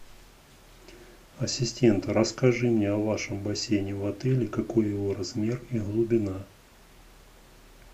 ассистент расскажи мне о вашем бассейне в отеле какой его размер и глубина